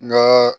N ka